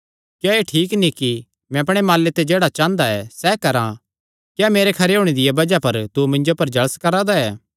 क्या एह़ ठीक नीं कि मैं अपणे माले ते जेह्ड़ा चांह़दा सैह़ करां क्या मेरे खरे होणे दिया बज़ाह पर तू मिन्जो पर जल़स करा दा ऐ